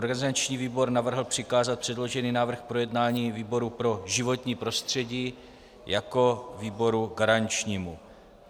Organizační výbor navrhl přikázat předložený návrh k projednání výboru pro životní prostředí jako výboru garančnímu.